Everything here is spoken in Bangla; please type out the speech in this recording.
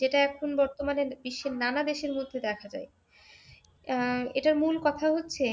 যেটা এখন বর্তমানে বিশ্বের নানা দেশের মধ্যে দেখা যায়। আহ এটার মূল কথা হচ্ছে